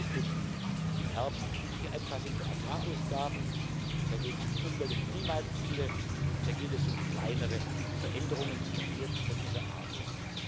Da geht es um die im Herbst übliche Anpassung der Agrarausgaben, da geht es um Umwelt und Klimaziele, da geht es um kleinere Veränderungen, die eher technischer Art sind.